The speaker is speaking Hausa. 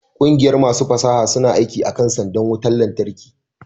ƙungiyar masu fasaha suna aiki akan sandar wutar lantarki